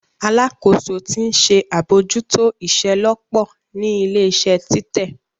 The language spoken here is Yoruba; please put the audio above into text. Alakoso ti nṣe abojuto iṣelọpọ ni ile-iṣẹ titẹ.